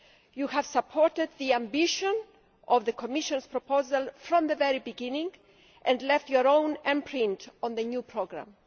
You have supported the ambition of the Commission's proposal from the very beginning and left your own imprint on the new programme.